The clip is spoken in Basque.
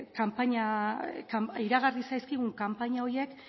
iragarri zaizkigun kanpaina horiek